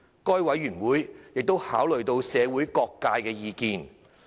該委員會亦已考慮社會各界的意見。